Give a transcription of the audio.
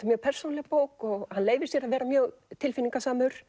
mjög persónuleg bók og hann leyfir sér að vera mjög